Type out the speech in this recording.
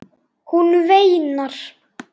Hún veinar.